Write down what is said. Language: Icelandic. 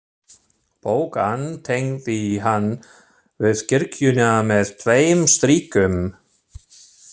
Bogann tengdi hann við kirkjuna með tveim strikum.